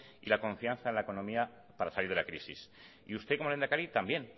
y la confianza en la economía para salir de la crisis y usted como lehendakari también